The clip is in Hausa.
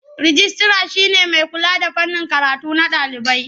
Rijistira shi ne mai kula da fannin karatu na ɗalibai.